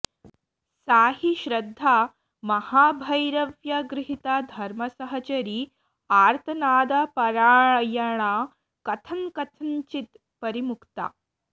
सा हि श्रद्धा महाभैरव्या गृहीता धर्मसहचरी आर्तनादपरायणा कथंकथंचित् परिमुक्ता